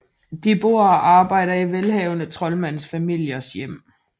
De bor og arbejder i velhavende troldmandsfamiliers hjem